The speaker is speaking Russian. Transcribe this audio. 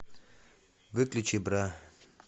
выключи бра